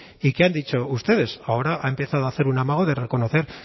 y qué han dicho ustedes ahora ha empezado a hacer un amago de reconocer